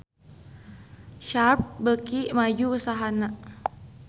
Sharp beuki maju usahana